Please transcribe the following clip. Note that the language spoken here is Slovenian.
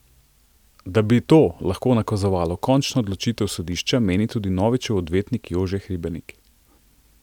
Da bi to lahko nakazovalo končno odločitev sodišča, meni tudi Novičev odvetnik Jože Hribernik.